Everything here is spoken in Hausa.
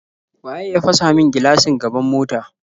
Waye ya fasa min gilashin gaban mota?